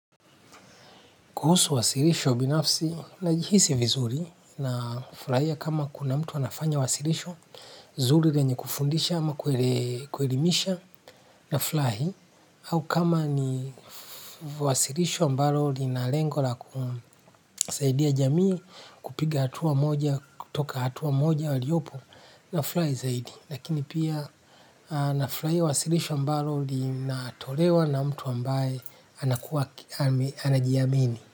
Kuhusu wasilisho binafsi najihisi viruzi nafurahia kama kuna mtu anafanya wasilisho nzuri lenye kufundisha ama kuelimisha, nafurahi au kama ni wasilisho ambalo lina lengo la kusaidia jamii, kupiga hatua moja kutoka hatua moja waliopo na furahi zaidi. Lakini pia nafurahia wasilisho ambalo linatolewa na mtu ambaye anajiamini.